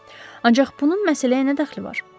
Ancaq bunun məsələyə nə dəxli var?